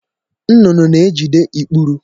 Nnụnụ na-ejide ikpuru.